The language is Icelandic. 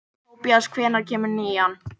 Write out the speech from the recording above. Tobías, hvenær kemur nían?